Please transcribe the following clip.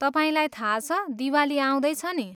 तपाईँलाई थाहा छ, दिवाली आउँदैछ नि!